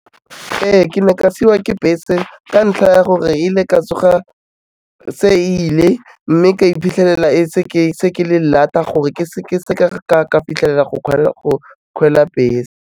Ee, ke ne ka siwa ke bese ka ntlha ya gore ile ka tsoga se ile, mme ka iphitlhelela se ke le late-a gore ke seka ka fitlhelela go bese.